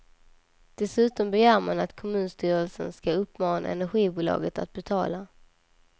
Dessutom begär man att kommunstyrelsen skall uppmana energibolaget att betala.